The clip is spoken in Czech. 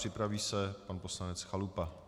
Připraví se pan poslanec Chalupa.